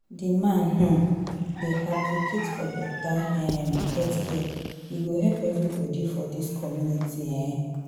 Di man um dey advocate for beta um healthcare, e go help everybodi for dis community. um